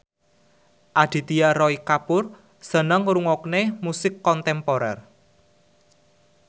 Aditya Roy Kapoor seneng ngrungokne musik kontemporer